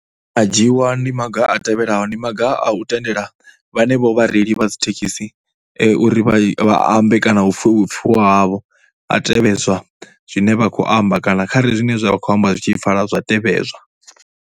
A dzhiiwa ndi maga a tevhelaho, ndi maga a u tendela vhanevho vhareili vha dzi thekhisi uri vha ambe kana hu pfhiwe vhupfhiwa havho ha tevhedzwa zwine vha khou amba kana kharali zwine zwa vha khou amba zwi tshi pfhala zwa tevhedzwa.